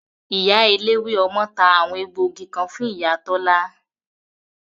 Ìyá eléwé ọmọ ta àwọn egbògi kan fún ìyá Tola